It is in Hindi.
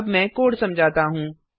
अब मैं कोड समझाता हूँ